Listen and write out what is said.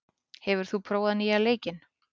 , hefur þú prófað nýja leikinn?